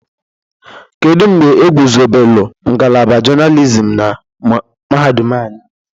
Kedu mgbe egwuzobelu ngalaba journalism na mahadum anyị?